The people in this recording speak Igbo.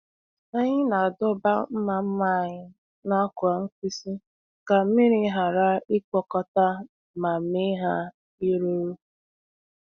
Anyị na-adọba mma mma anyị n’akwa mkpisi ka mmiri ghara ịkpokọta ma mee ha iruru.